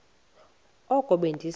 oko be ndise